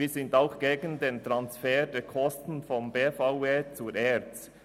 Wir sind auch gegen den Transfer der Kosten von der BVE zur ERZ.